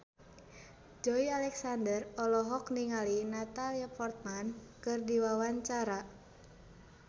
Joey Alexander olohok ningali Natalie Portman keur diwawancara